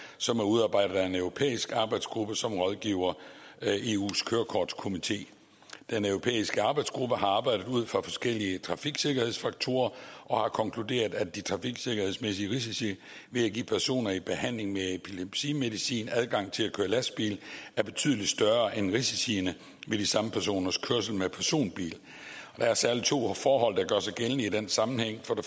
som er udarbejdet af en europæisk arbejdsgruppe som rådgiver eus kørekortkomite den europæiske arbejdsgruppe har arbejdet ud fra forskellige trafiksikkerhedsfaktorer og har konkluderet at de trafiksikkerhedsmæssige risici ved at give personer i behandling med epilepsimedicin adgang til at køre lastbil er betydelig større end risiciene ved de samme personers kørsel med personbil der er særlig to forhold der gør sig gældende i den sammenhæng for det